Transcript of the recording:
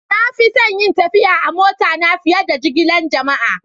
Na fi son yin tafiya a'mota na fiyar da jigilan jama'a.